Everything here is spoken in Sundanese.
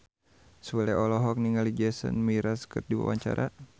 Sule olohok ningali Jason Mraz keur diwawancara